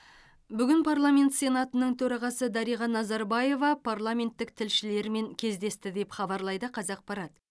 бүгін парламент сенатының төрағасы дариға назарбаева парламенттік тілшілермен кездесті деп хабарлайды қазақпарат